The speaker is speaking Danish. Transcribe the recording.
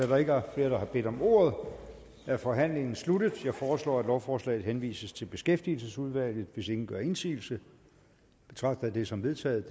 der ikke er flere der har bedt om ordet er forhandlingen sluttet jeg foreslår at lovforslaget henvises til beskæftigelsesudvalget hvis ingen gør indsigelse betragter jeg det som vedtaget